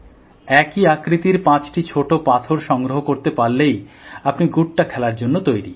একই আকৃতির পাঁচটি ছোট পাথর সংগ্রহ করতে পারলেই আপনি ড্যাঙগুলি খেলার জন্য তৈরি